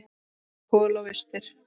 Kol og vistir.